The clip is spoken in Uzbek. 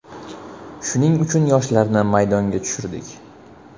Shuning uchun yoshlarni maydonga tushirdik.